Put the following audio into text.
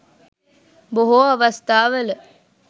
බොහෝ අවස්ථාවල